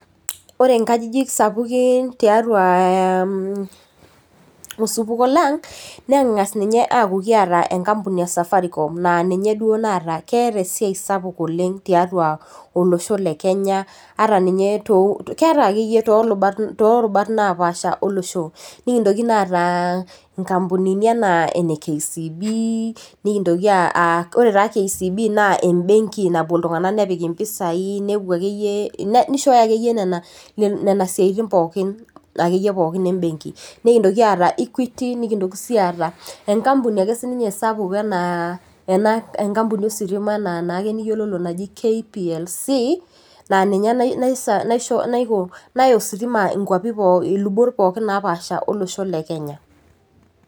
Ore nkajijik sapukin tiatua osupuko lang, neng'as ninye aku kiata enkampuni e Safaricom, naa ninye duo naata keeta esiai sapuk oleng tiatua olosho le Kenya, ata ninye keeta akeyie torubat napaasha olosho. Nikintoki naa ata inkampunini enaa ene KCB, nikintoki ah ore taa KCB, naa ebenki napuo iltung'anak nepik impisai nepuo akeyie nishooyo akeyie nena siaitin pookin, akeyie pookin ebenki. Nikintoki aata Equity, nikintoki si ata enkampuni ake sininye sapuk enaa ena enkampuni ositima enaa naake niyiololo naji KPLC,na ninye naisho naiko, naya ositima inkwapi pooki ilubot pookin napaasha olosho le Kenya.